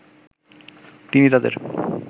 তিনি তাদের